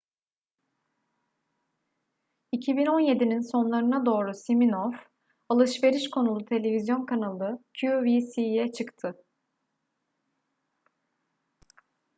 2017'nin sonlarına doğru siminoff alışveriş konulu televizyon kanalı qvc'ye çıktı